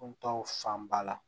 fan ba la